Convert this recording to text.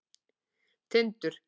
Tindur